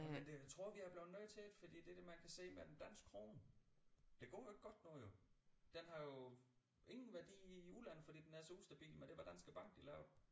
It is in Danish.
Men det jeg tror vi er blevet nødt til det fordi det er det man kan se med den danske krone det går jo ikke godt nu jo den har jo ingen værdi i udlandet fordi den er så ustabil med det hvad Danske Bank de lavede